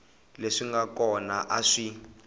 leswi nga kona a swi